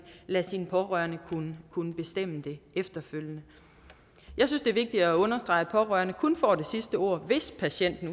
lade sine pårørende kunne kunne bestemme det efterfølgende jeg synes det er vigtigt at understrege at pårørende kun får det sidste ord hvis patienten